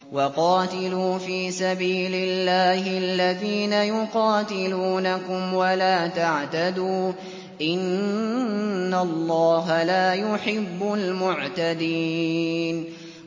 وَقَاتِلُوا فِي سَبِيلِ اللَّهِ الَّذِينَ يُقَاتِلُونَكُمْ وَلَا تَعْتَدُوا ۚ إِنَّ اللَّهَ لَا يُحِبُّ الْمُعْتَدِينَ